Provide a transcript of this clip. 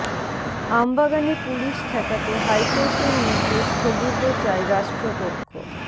আম বাগানে পুলিশ ঠেকাতে হাইকোর্টের নির্দেশ স্থগিত চায় রাষ্ট্রপক্ষ